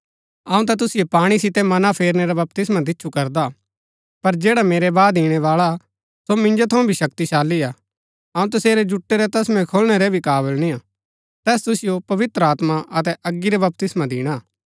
अऊँ ता तुसिओ पाणी सितै मना फेरनै रा बपतिस्मा दिच्छु करदा पर जैडा मेरै बाद ईणैबाळा सो मिन्जो थऊँ भी शक्तिशाली हा अऊँ तसेरै जुटै रै तस्मै खोलणै रै भी काबल निय्आ तैस तुसिओ पवित्र आत्मा अतै अगी रा बपतिस्मा दिणा